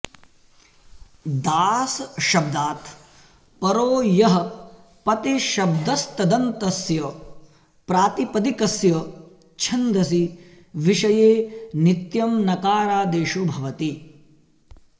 दासशब्दात् परो यः पतिशब्दस्तदन्तस्य प्रातिपदिकस्य चछन्दसि विषये नित्यं नकारादेशो भवति